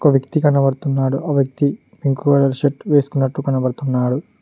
ఒక వ్యక్తి కనబడుతున్నాడో ఆ వ్యక్తి పింక్ కలర్ షర్ట్ వేసుకున్నట్టు కనబడుతున్నాడు.